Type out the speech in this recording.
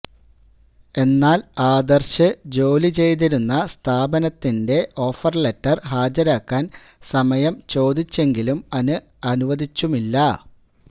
എന്നാൽ ആദർശ് ജോലി ചെയ്തിരുന്ന സ്ഥാപനത്തിന്റെ ഓഫർ ലെറ്റർ ഹാജരാക്കാൻ സമയം ചോദിച്ചെങ്കിലും അത് അനുവദിച്ചതുമില്ല